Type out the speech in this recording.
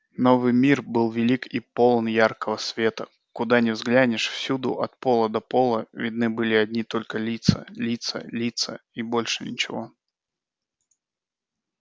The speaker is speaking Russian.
новый мир был велик и полон яркого света куда ни взглянешь всюду от пола до пол видны были одни только лица лица лица и больше ничего